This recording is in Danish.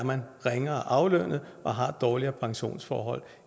ringere aflønnet og har dårligere pensionsforhold